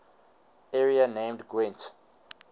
area named gwent